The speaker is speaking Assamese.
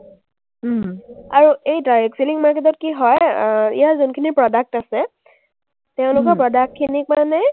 আৰু এই direct selling market ত কি হয়, আহ ইয়াৰ যোনখিনি product আছে, তেওঁলোকৰ product খিনিক মানে